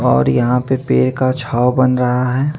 और यहाँ पे पेड़ का छओ बन रहा है।